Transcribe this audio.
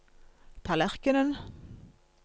tallerkenen